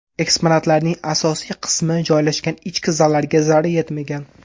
Eksponatlarning asosiy qismi joylashgan ichki zallarga zarar yetmagan.